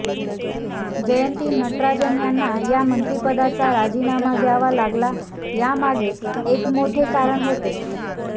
जयंती नटराजन यांना या मंत्रिपदाचा राजीनामा द्यावा लागला यामागे हे एक मोठे कारण होते